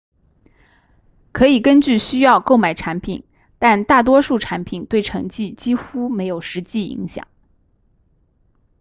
可以根据需要购买产品但大多数产品对成绩几乎没有实际影响